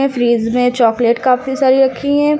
Fridge में chocolate काफी सारी रखी है।